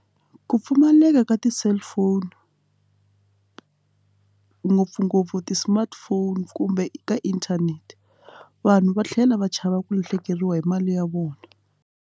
Ku pfumaleka ka ti-cellphone ngopfungopfu ti-smartphone kumbe ka internet vanhu va tlhela va chava ku lahlekeriwa hi mali ya vona.